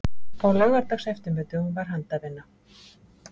Á laugardagseftirmiðdögum var handavinna.